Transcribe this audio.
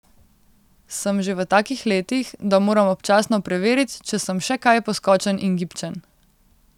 Sem že v takih letih, da moram občasno preverit, če sem še kaj poskočen in gibčen.